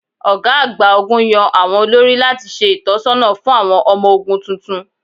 Ọ̀gá àgbà ogún yàn àwọn olórí láti ṣe ìtọ̀sọ́nà fún àwọn ọmọ ogún tuntun.